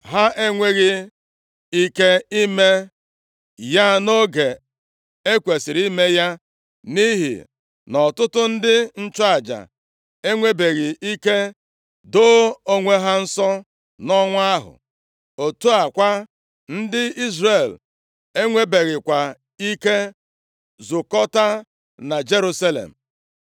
Ha enweghị ike ime ya nʼoge e kwesiri ime ya nʼihi na ọtụtụ ndị nchụaja enwebeghị ike doo onwe ha nsọ nʼọnwa ahụ. Otu a kwa, ndị Izrel enwebeghịkwa ike zukọtaa na Jerusalem.